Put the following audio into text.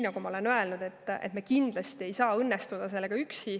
Nagu ma olen öelnud, kindlasti ei õnnestu meil üksinda.